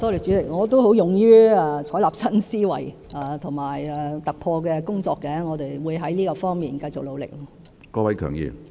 主席，我也勇於採納新思維和突破的工作，我們會在這方面繼續努力。